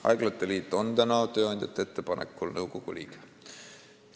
Haiglate liit on tööandjate ettepanekul nõukogu liige.